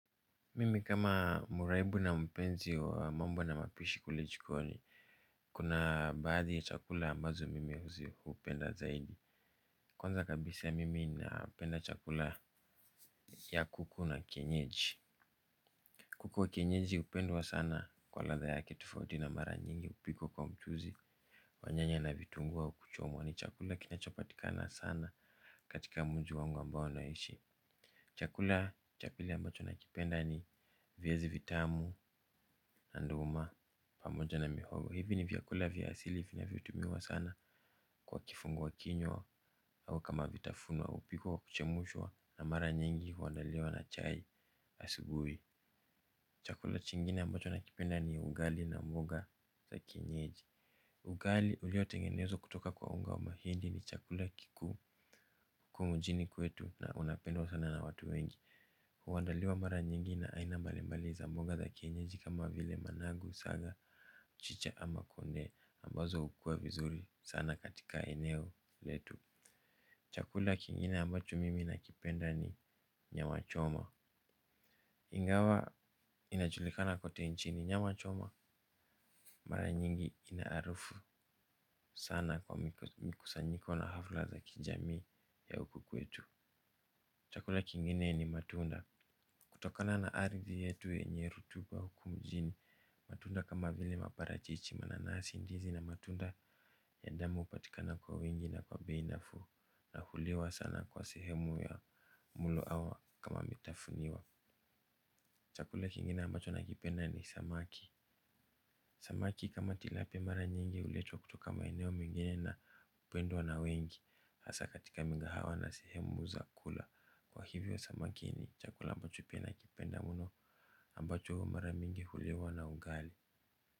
Mimi kama mraibu na mpenzi wa mambo na mapishi kule jikoni. Kuna baadhi ya chakula ambazo mimi hupenda zaidi. Kwanza kabisa mimi napenda chakula ya kuku na kienyeji. Kuku wa kienyeji hupendwa sana kwa ladha yake tofauti na mara nyingi hupikwa kwa mchuzi wa nyanya na vitunguu au kuchomwa ni chakula kinachopatikana sana katika mji wangu ambao ninaishi. Chakula cha pili ambacho nakipenda ni viazi vitamu na nduma pamoja na mihogo hivi ni vyakula vya asili vinavyotumiwa sana kwa kifungua kinywa au kama vitafunwa hupikwa kwa kuchemshwa na mara nyingi huandaliwa na chai asubuhi. Chakula kingine ambacho nakipenda ni ugali na mboga za kienyeji. Ugali uliotengenezwa kutoka kwa unga wa mahindi ni chakula kikuu huku mjini kwetu na unapendwa sana na watu wengi huandaliwa mara nyingi na aina mbalimbali za mboga za kienyeji kama vile managu saga mchicha ama kunde ambazo hukua vizuri sana katika eneo letu. Chakula kingine ambacho mimi nakipenda ni nyama choma. Ingawa inajulikana kote nchini nyama choma mara nyingi ina harufu sana kwa mikusanyiko na hafla za kijamii ya huku kwetu. Chakula kingine ni matunda. Kutokana na ardhi yetu yenye rutuba huku mjini matunda kama vile maparachichi mananasi ndizi na matunda ya damu hupatikana kwa wingi na kwa bei nafuu na huliwa sana kwa sehemu ya mlo ama kama vitafunwa. Chakule kingine ambacho nakipenda ni samaki. Samaki kama tilapia mara nyingi huletwa kutoka maeneo mengine na hupendwa na wengi hasa katika migahawa na sehemu za kula kwa hivyo samaki ni chakula ambacho pia nakipenda mno ambacho mara mingi huliwa na ugali.